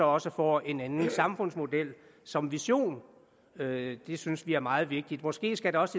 også får en anden samfundsmodel som vision det synes vi er meget vigtigt måske skal der også